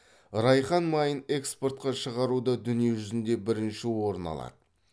райхан майын экспортқа шығаруда дүние жүзінде бірінші орын алады